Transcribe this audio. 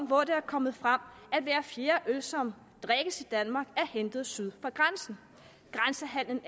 hvor det er kommet frem at hver fjerde øl som drikkes i danmark er hentet syd for grænsen grænsehandelen